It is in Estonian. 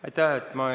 Aitäh!